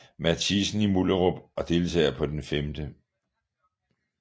Mathiassen i Mullerup og deltager på den 5